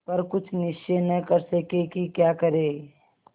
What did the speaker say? पर कुछ निश्चय न कर सके कि क्या करें